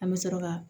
An bɛ sɔrɔ ka